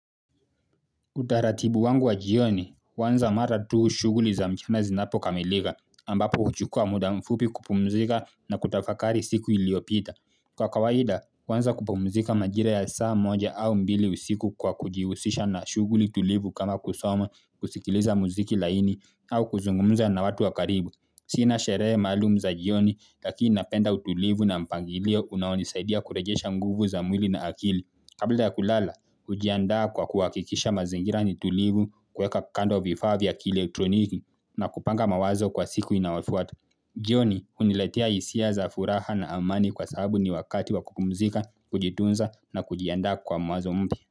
Utaratibu wangu wa jioni, huanza mara tu shughuli za mchana zinapo kamilika, ambapo huchukua muda mfupi kupumzika na kutafakari siku iliopita. Kwa kawaida, huanza kupumzika majira ya saa moja au mbili usiku kwa kujihusisha na shughuli tulivu kama kusoma kusikiliza muziki laini au kuzungumza na watu wa karibu. Sina sherehe maalum za jioni, lakini napenda utulivu na mpangilio unaonisaidia kurejesha nguvu za mwili na akili. Kabla ya kulala, hujiandaa kwa kuhakikisha mazingira ni tulivu kueka kando vifaa vya kielektroniki na kupanga mawazo kwa siku inaofuata. Jioni, huniletea hisia za furaha na amani kwa sababu ni wakati wa kupumzika, kujitunza na kujianda kwa mawazo mpya.